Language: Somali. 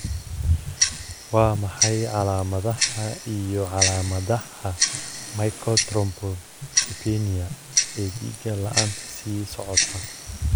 Waa maxay calaamadaha iyo calaamadaha Macrothrombocytopenia ee dhega la'aanta sii socota?